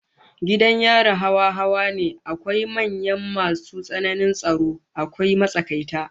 Gidajen yari hawa hawa ne, akwai manyan masu tsananin tsaro, akwai matsakaita